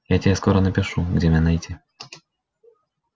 я тебе скоро напишу где меня найти